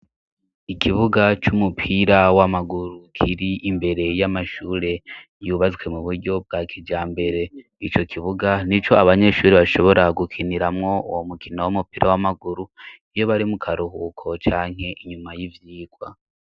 Ikibuga c'umupira w'amaguru kiri imbere y'amashure yubatswe mu buryo bwa kijambere ico kibuga nico abanyeshure bashobora gukiniramwo uwo mukino w'umupira w'amaguru iyo bari mu karuhuko canke inyuma y'ivyigwa.